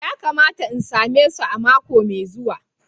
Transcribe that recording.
Ya kamata in same su mako mai zuwa.